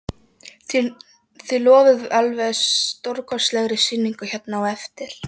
Berghildur: Þið lofið alveg stórkostlegri sýningu hérna á eftir?